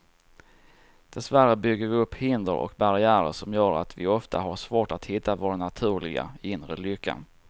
Dessvärre bygger vi upp hinder och barriärer som gör att vi ofta har svårt att hitta vår naturliga, inre lycka.